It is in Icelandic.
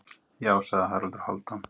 Já, sagði Haraldur Hálfdán.